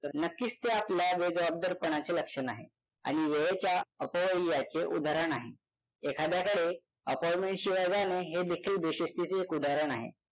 तर नक्कीच ते आपल्या बेजबाबदारपणाचे लक्षण आहे आणि वेळेच्या अपव्ययाचे उदाहरण आहे एखाद्याकडे appointment शिवाय जाणे हे देखील बेशिस्तीचे एक उदाहरण आहे